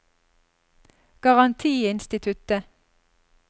garantiinstituttet